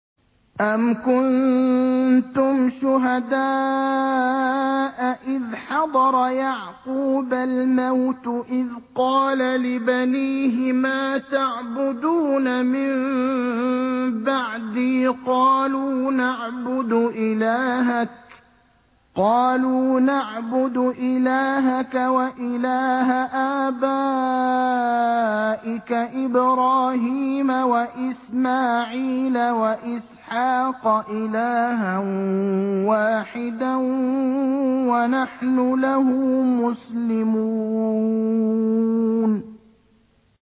أَمْ كُنتُمْ شُهَدَاءَ إِذْ حَضَرَ يَعْقُوبَ الْمَوْتُ إِذْ قَالَ لِبَنِيهِ مَا تَعْبُدُونَ مِن بَعْدِي قَالُوا نَعْبُدُ إِلَٰهَكَ وَإِلَٰهَ آبَائِكَ إِبْرَاهِيمَ وَإِسْمَاعِيلَ وَإِسْحَاقَ إِلَٰهًا وَاحِدًا وَنَحْنُ لَهُ مُسْلِمُونَ